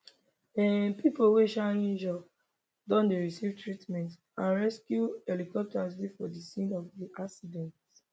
um pipo wey um injure don dey receive treatment and rescue helicopters dey for di scene of di accident